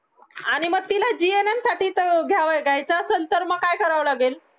आणि मग तिला gum साठी घ्यायचं असेल तर मग काय करावं लागेल